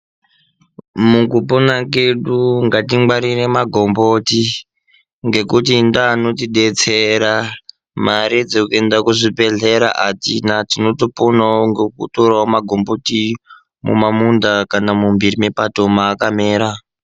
Mukupona kedu ngatingwarire magomboti, ngekuti ndeanotidetsera. Mare dzekuenda kuzvibhedhlera atina, tinotoponawo ngekutorawo magomboti mumamunda kana mumbhiri mepato maakamera.